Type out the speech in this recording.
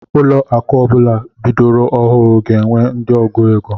Ụlọ akụ ọbula bidoro ọhụụ ga-enwe ndị ọgụ égo.